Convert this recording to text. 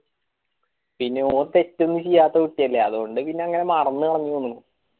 പിന്നെ ഓന് തെറ്റൊന്നും ചെയ്യാത്ത കുട്ടിയല്ലേ അതോണ്ട് പിന്നെ ഇങ്ങനെ മറന്ന് മറന്ന് പോകുന്ന്